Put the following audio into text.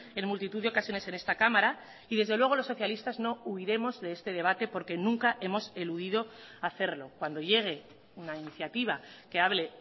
en multitud de ocasiones en esta cámara y desde luego los socialistas no huiremos de este debate porque nunca hemos eludido hacerlo cuando llegue una iniciativa que hable